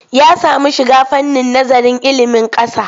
Ya samu shiga fannin nazarin ilimin ƙasa.